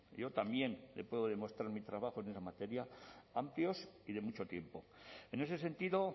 yo también le puedo demostrar mi trabajo en esta materia amplios y de mucho tiempo en ese sentido